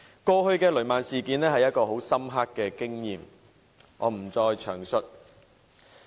過去的雷曼事件是一次很深刻的經驗，我不再詳述了。